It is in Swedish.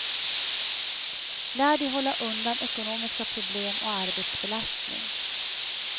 Lär dig hålla undan ekonomiska problem och arbetsbelastning.